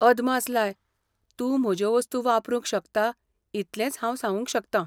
अदमास लाय ! तूं म्हज्यो वस्तू वापरूंक शकता इतलेंच हांव सांगूंक शकता.